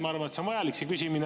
Ma arvan, et see küsimine on vajalik.